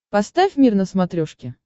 поставь мир на смотрешке